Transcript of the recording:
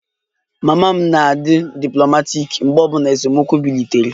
Mama m na-adi diplomaatic mgbe obula esemokwu bilitere